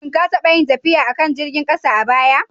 Shin ka taɓa yin tafiya a kan jirgin ƙasa a baya?